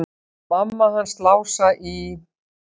Mamma hans Lása í